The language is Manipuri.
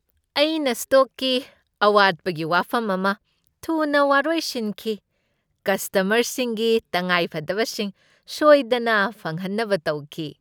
ꯑꯩꯅ ꯁ꯭ꯇꯣꯛꯀꯤ ꯑꯋꯥꯠꯄꯒꯤ ꯋꯥꯐꯝ ꯑꯃ ꯊꯨꯅ ꯋꯥꯔꯣꯏꯁꯤꯟꯈꯤ, ꯀꯁꯇꯃꯔꯁꯤꯡꯒꯤ ꯇꯉꯥꯏꯐꯗꯕꯁꯤꯡ ꯁꯣꯏꯗꯅ ꯐꯪꯍꯟꯅꯕ ꯇꯧꯈꯤ꯫